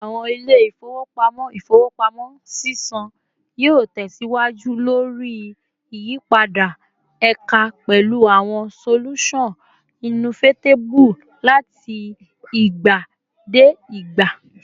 Awọn ile-ifowopamọ ifowopamọ sisan yoo tẹsiwaju lori iyipada eka pẹlu awọn solusan innovatibe lati igba de igba